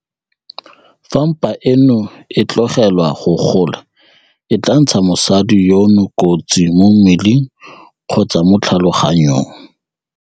Fa mpa eno e tlogelwa go gola e tla ntsha mosadi yono kotsi mo mmeleng kgotsa mo tlhaloganyong.